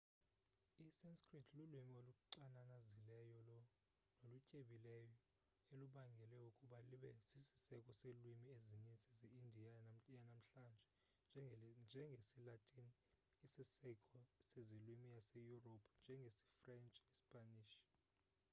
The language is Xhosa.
i-sanskrit lulwimi oluxananazileyo nolutyebileyo elubangele ukuba libe sisiseko selwimi ezinintsi ze indiya yanamhlanje njengesilatini isisiseko sezilwimi zaseyurophu njengesifrentshi nesipanish